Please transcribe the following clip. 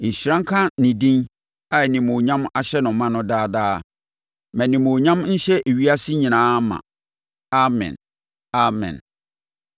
Nhyira nka ne din a animuonyam ahyɛ no ma no daa daa. Ma nʼanimuonyam nhyɛ ewiase nyinaa ma. Amen! Amen!